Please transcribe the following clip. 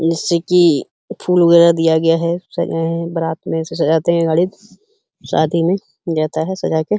जैसे कि यह फूल वगैरा दिया गया हैं सजाए हैं बारात मे ऐसे सजाते हैं गाड़ी शादी मे जाता हैं सजाके --